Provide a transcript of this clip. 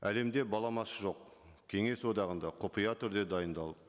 әлемде баламасы жоқ кеңес одағында құпия түрде дайындалып